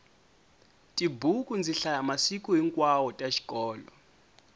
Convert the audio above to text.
tibuku ndzi hlaya masiku hinkwawo ta xikolo